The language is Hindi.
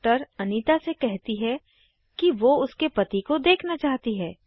डॉक्टर अनीता से कहती है कि वो उसके पति को देखना चाहती है